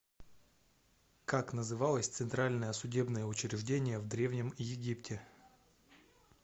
как называлось центральное судебное учреждение в древнем египте